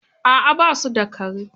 A'a ba su da kare